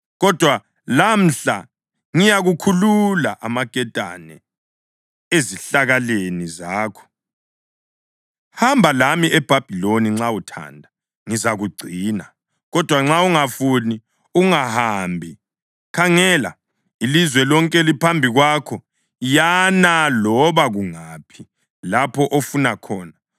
Kodwa lamhla ngiyakukhulula amaketane ezihlakaleni zakho. Hamba lami eBhabhiloni, nxa uthanda, ngizakugcina; kodwa nxa ungafuni, ungahambi. Khangela, ilizwe lonke liphambi kwakho; yana loba kungaphi lapho ofuna khona.”